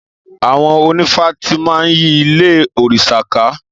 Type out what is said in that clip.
Àwon Ònífà tímà yí Ìlé órisá kà.